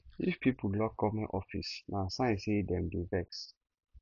if pipo lock government office na sign say dem dey vex